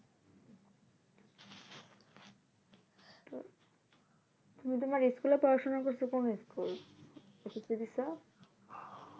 তুমি তোমার school এ পড়াশোনা করছো কোন schoolssc দিচ্ছ